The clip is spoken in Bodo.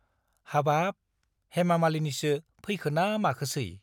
हाबाब , हेमा मालिनिसो फैखोना माखोसै ?